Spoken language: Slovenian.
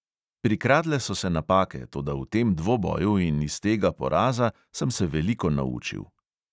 Prikradle so se napake, toda v tem dvoboju in iz tega poraza sem se veliko naučil.